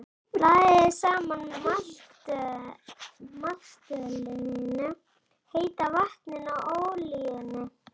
Blandið saman maltölinu, heita vatninu og olíunni.